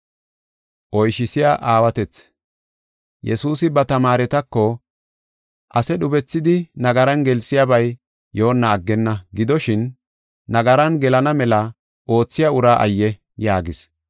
Yesuusi ba tamaaretako, “Ase dhubethidi nagaran gelsiyabay yoonna aggenna. Gidoshin, nagaran gelana mela oothiya ura ayye!” yaagis.